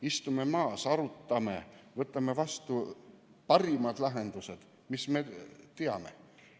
Istume maha, arutame ja võtame vastu parimad lahendused, mis me teame.